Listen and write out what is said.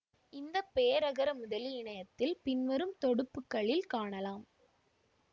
இந்த பேரகரமுதலி இணையத்தில் பின்வரும் தொடுப்புகளில் காணலாம்